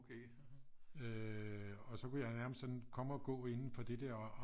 Øh og så kunne jeg nærmest sådan komme og gå indenfor det der